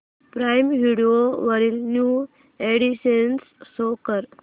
prime Video वरील new additions show कर